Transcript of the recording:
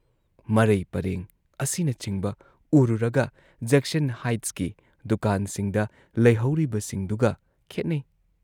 ꯃꯔꯩ ꯄꯔꯦꯡ ꯑꯁꯤꯅꯆꯤꯡꯕ ꯎꯔꯨꯔꯒ ꯖꯦꯛꯁꯟ ꯍꯥꯏꯠꯁꯀꯤ ꯗꯨꯀꯥꯟꯁꯤꯡꯗ ꯂꯩꯍꯧꯔꯤꯕꯁꯤꯡꯗꯨꯒ ꯈꯦꯠꯅꯩ ꯫